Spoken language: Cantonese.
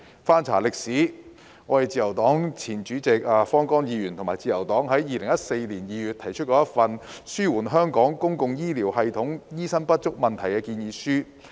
翻查歷史，自由黨前主席及前議員方剛和自由黨在2014年2月曾提出一份《紓緩香港公共醫療系統的醫生不足問題建議書》。